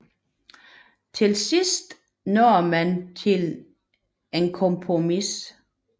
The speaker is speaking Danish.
Til sidst nåede man til et kompromis